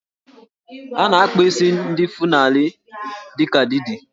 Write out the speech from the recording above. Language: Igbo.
A na-akpa isi ndị Fulani dị ka Didi